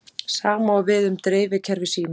Sama á við um dreifikerfi símans.